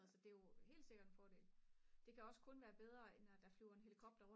altså det er jo helt sikkert en fordel det kan også kun være bedre end at der flyver en helikopter